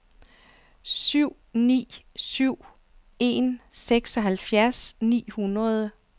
syv ni syv en seksoghalvfjerds ni hundrede